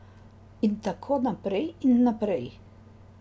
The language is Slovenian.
In tako naprej in naprej.